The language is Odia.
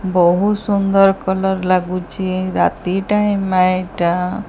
ବହୁତ ସୁନ୍ଦର କଲର୍ ଲାଗୁଛି ରାତି ଟାଇମ୍ ଏଇଟା।